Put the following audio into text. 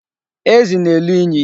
Ezi na-elu inyi.